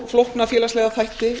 flókna félagslega þætti